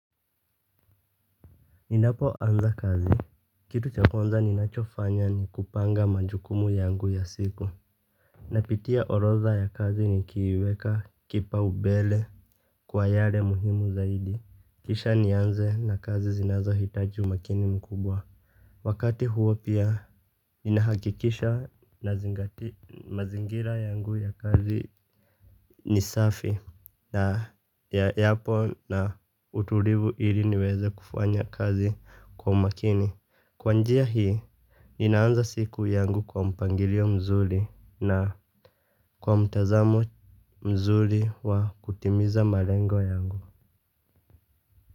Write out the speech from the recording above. Ninapoanza kazi, kitu cha kwanza ninachofanya ni kupanga majukumu yangu ya siku. Napitia orodha ya kazi nikiiweka kipaumbele kwa yale muhimu zaidi. Kisha nianze na kazi zinazohitaji umakini mkubwa. Wakati huo pia ninahakikisha nazingatia mazingira yangu ya kazi ni safi na yapo na utulivu ili niweze kufanya kazi kwa makini. Kwa njia hii ninaanza siku yangu kwa mpangilio mzuri na kwa mtazamo mzuri wa kutimiza marengo yangu.